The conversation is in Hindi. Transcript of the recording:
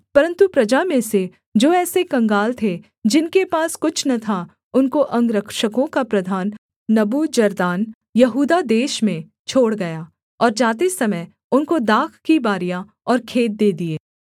परन्तु प्रजा में से जो ऐसे कंगाल थे जिनके पास कुछ न था उनको अंगरक्षकों का प्रधान नबूजरदान यहूदा देश में छोड़ गया और जाते समय उनको दाख की बारियाँ और खेत दे दिए